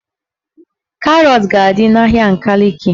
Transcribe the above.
Karọt a ga-adị n'ahịa Nkaliki?